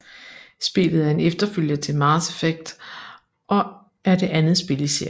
Spillet er en efterfølger til Mass Effect og er det andet spil i serien